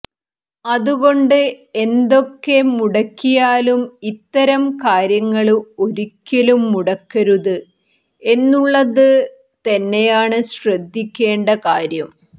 അതുകൊണ്ട് എന്തൊക്കെ മുടക്കിയാലും ഇത്തരം കാര്യങ്ങള് ഒരിക്കലും മുടക്കരുത് എന്നുള്ളത് തന്നെയാണ് ശ്രദ്ധിക്കേണ്ട കാര്യം